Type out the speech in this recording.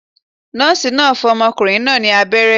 Nóòsì náà fún ọmọkùnrin náà ní abéré